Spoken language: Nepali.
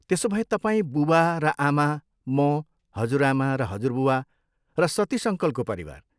त्यसो भए तपाईँ, बुबा र आमा, म, हजुरआमा र हजुरबुबा, र सतीश अङ्कलको परिवार।